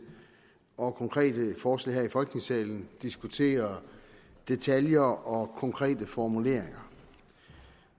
og konkrete forslag her i folketingssalen diskutere detaljer og konkrete formuleringer